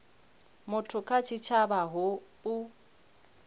muthu kha tshitshavha hu u